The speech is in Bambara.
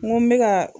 N ko n bɛ ka